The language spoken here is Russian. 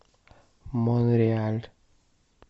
монреаль